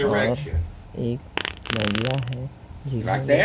और एक महिला है जिन्होंने--